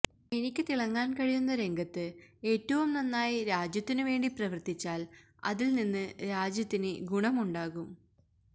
എനിക്ക് തിളങ്ങാൻ കഴിയുന്ന രംഗത്ത് ഏറ്റവും നന്നായി രാജ്യത്തിനുവേണ്ടി പ്രവർത്തിച്ചാൽ അതിൽ നിന്ന് രാജ്യത്തിന് ഗുണമുണ്ടാകും